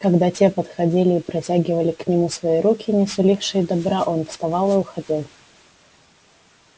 когда те подходили и протягивали к нему свои руки не сулившие добра он вставал и уходил